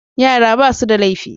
Yara ba' su da laifi.